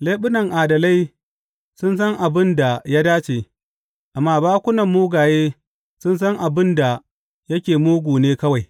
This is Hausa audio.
Leɓunan adalai sun san abin da ya dace, amma bakunan mugaye sun san abin da yake mugu ne kawai.